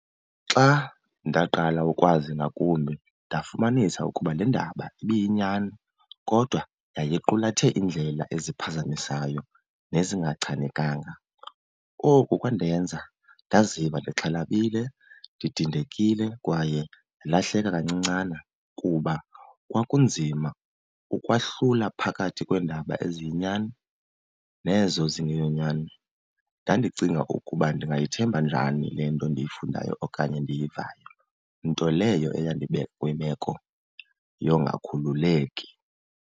Xa ndaqala ukwazi ngakumbi ndafumanisa ukuba le ndaba ibiyinyani kodwa yayiqulathe iindlela eziphazamisayo nezingachanekanga. Oku kwandenza ndaziva ndixhalabile, ndidnidekile kwaye ndilahleka kancincana, kuba kwakunzima ukwahlula phakathi kweendaba eziyinyani nezo zingeyonyani. Ndandicinga ukuba ndingayithemba njani le nto ndiyifundayo okanye ndiyivayo, nto leyo eyandibeka kwimeko yongakhululeki.